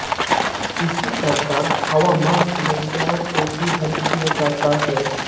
इसी प्रकार हवामार समस्याओं को भी हल किया जाता है